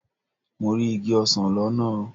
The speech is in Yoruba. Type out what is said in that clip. Mo rí igi ọsán lọ́nà.